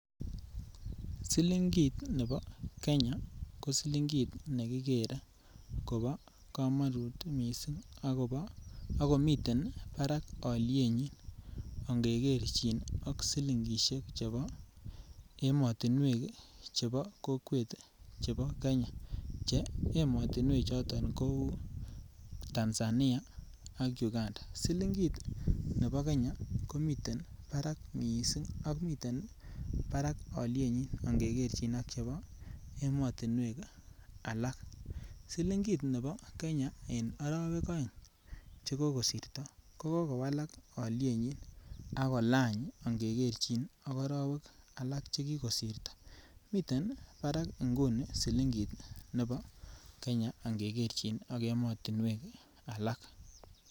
Silingit nebo Kenya ko Silingit nebo komonut kot mising ak komiten barak alyenyi ange kerchin ak silingisiek chebo emotinwek chebo kokwet chebo kenya Che emotinwenchoto kou Tanzania ak Uganda silingit nebo Kenya komiten barak mising ak komiten barak alyenyi angekerchin ak chebo emotinwek alak silingit nebo Kenya en arawek oeng Che kokosirto kokowak alyenyi ak kolany angekerchin ak arawek alak Che kikosirto miten barak inguni silingit nebo Kenya angeker6ak emotinwek alak